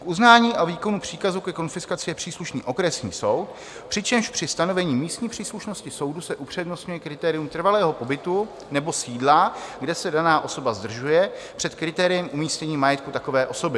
K uznání a výkonu příkazu ke konfiskaci je příslušný okresní soud, přičemž při stanovení místní příslušnosti soudů se upřednostňuje kritérium trvalého pobytu nebo sídla, kde se daná osoba zdržuje, před kritériem umístění majetku takové osoby.